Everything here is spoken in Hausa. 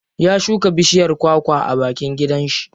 Ya shuka bishiyar kwa kwa a bakin gidan shi.